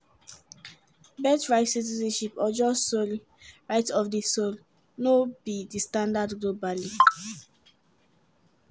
birthright citizenship or jus soli (right of di sol) no be di standard globally.